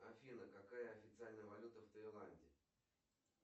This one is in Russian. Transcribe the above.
афина какая официальная валюта в тайланде